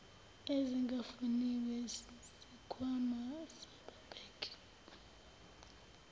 ezingafuniwe sikhwama sababheki